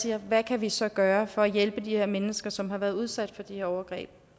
siger hvad kan vi så gøre for at hjælpe de her mennesker som har været udsat for de her overgreb